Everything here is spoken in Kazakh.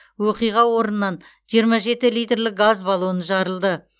оқиға орнынан жиырма жеті литрлік газ баллоны жарылды